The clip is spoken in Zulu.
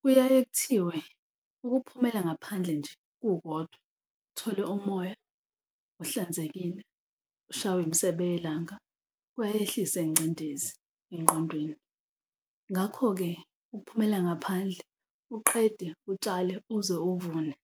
Kuyaye kuthiwe ukuphumela ngaphandle nje kukodwa uthole umoya ohlanzekile, ushaywe imisebe yelanga kuyayehlisa ingcindezi engqondweni. Ngakho-ke ukuphumela ngaphandle uqede utshale uze uvune.